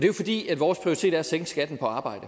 jo fordi vores prioritet er at sænke skatten på arbejde